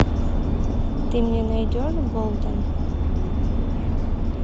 ты мне найдешь болден